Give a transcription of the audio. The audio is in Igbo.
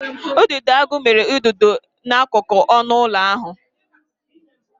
Udidoagu mere ụdịdo e n'akụkụ ọnụ ụlọ ahụ.